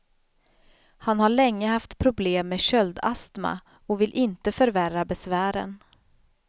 Han har länge haft problem med köldastma och vill inte förvärra besvären.